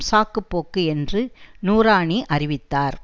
சாக்கு போக்கு என்று நூராணி அறிவித்தார்